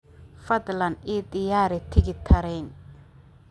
fadlan ii diyaari tigidh tareen